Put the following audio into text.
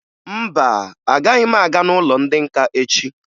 Mba, agaghị m aga n'ụlọ ndị nka echi